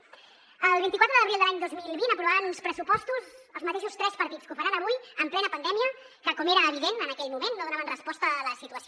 el vint quatre d’abril de l’any dos mil vint aprovaven uns pressupostos els mateixos tres partits que ho faran avui en plena pandèmia que com era evident en aquell moment no donaven resposta a la situació